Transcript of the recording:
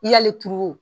I y'ale turu o